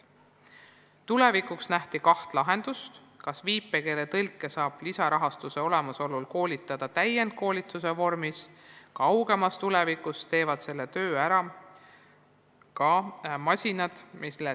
Tulevikuks nähti ette kaht lahendust: viipekeeletõlke võib hakata lisarahastuse olemasolu korral koolitama täienduskoolituse vormis, kaugemas tulevikus aga teevad selle töö ära masinad.